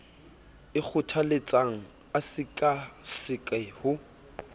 e kgothaletsang a sekaseke ho